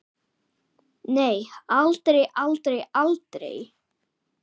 Nei, aldrei, aldrei, aldrei!